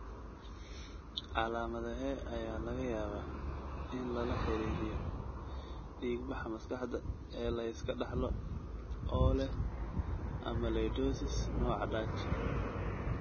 Calaamadahee ayaa laga yaabaa in lala xiriiriyo dhiig-baxa maskaxda ee la iska dhaxlo oo leh amyloidosis nooca Dutch?